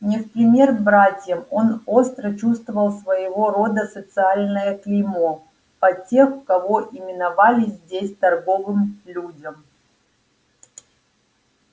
не в пример братьям он остро чувствовал своего рода социальное клеймо па тех кого именовали здесь торговым людям